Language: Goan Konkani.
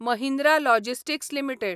Mahindra logistics limited